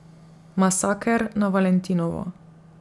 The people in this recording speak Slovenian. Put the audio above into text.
Masaker na valentinovo.